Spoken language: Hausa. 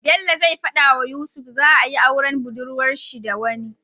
Bello zai fada wa yusuf za ayi auren budurwar shi da wani